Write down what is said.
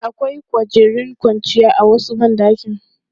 Akwai kwangirin kwanciya a wasu ban ɗakin.